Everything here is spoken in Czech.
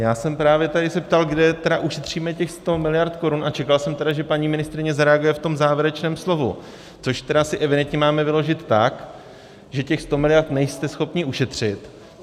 Já jsem právě tady se ptal, kde tedy ušetříme těch 100 miliard korun, a čekal jsem tedy, že paní ministryně zareaguje v tom závěrečném slovu, což tedy si evidentně máme vyložit tak, že těch 100 miliard nejste schopni ušetřit.